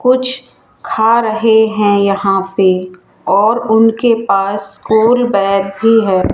कुछ खा रहे हैं यहां पे और उनके पास स्कूल बैग भी है।